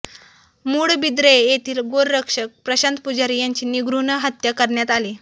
मूडबिद्रे येथील गोरक्षक प्रशांत पुजारी यांची निर्घृण हत्या करण्यात आली